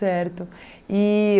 E